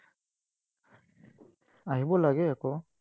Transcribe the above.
আহিব লাগে, আকৌ!